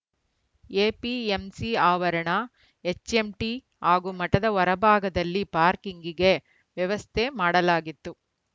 APMC ಆವರಣ HMT ಹಾಗೂ ಮಠದ ಹೊರ ಭಾಗದಲ್ಲಿ ಪಾರ್ಕಿಂಗ್‌ಗೆ ವ್ಯವಸ್ಥೆ ಮಾಡಲಾಗಿತ್ತು